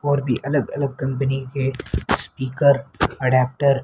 और भी अलग अलग कंपनी के स्पीकर एडेप्टर --